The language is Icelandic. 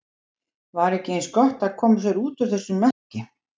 Var ekki eins gott að koma sér út úr þessum mekki?